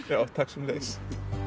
já takk sömuleiðis